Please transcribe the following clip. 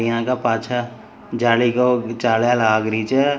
यहां के पाछे जाली को जाल्या लाग रही छ।